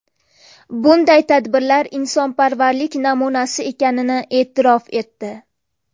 Bunday tadbirlar insonparvarlik namunasi ekanini e’tirof etdi.